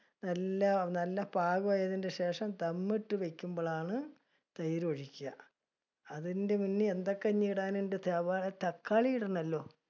എല്ലാം നല്ല പാകമായതിനുശേഷം dum ഇട്ടു വെക്കുമ്പോൾ ആണ്, തൈര് ഒഴിക്കുക. അതിന്റെ മുന്നേ എന്തൊക്കെ ഇനി ഇടാൻ ഉണ്ട് സവാള, തക്കാളി ഇടണോലോ.